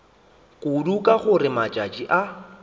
kudu ka gore matšatši a